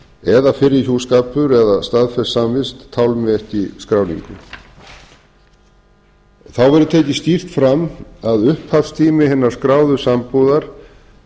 eða fyrri hjúskapur eða staðfest samvist tálmi ekki skráningu þá verður tekið skýrt fram að upphafstími hinnar skráðu sambúðar